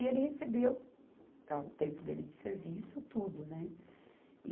E ele recebeu, ah, o tempo dele de serviço, tudo, né?